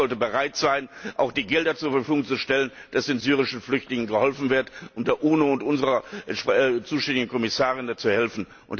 Dieses Haus sollte bereit sein, auch Gelder zur Verfügung zu stellen, damit den syrischen Flüchtlingen geholfen wird, sowie der UNO und unserer zuständigen Kommissarin zu helfen.